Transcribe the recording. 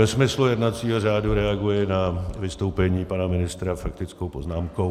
Ve smyslu jednacího řádu reaguji na vystoupení pana ministra faktickou poznámkou.